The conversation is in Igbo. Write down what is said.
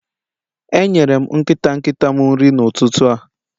Enyere m nkịta nkịta m nri n'ụtụtụ a